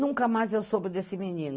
Nunca mais eu soube desse menino.